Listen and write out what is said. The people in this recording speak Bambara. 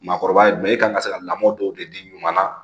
Maakɔrɔba ye e kan ka se ka lamɔ dɔw de di ɲama na